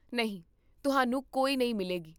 ਨਹੀਂ, ਤੁਹਾਨੂੰ ਕੋਈ ਨਹੀਂ ਮਿਲੇਗੀ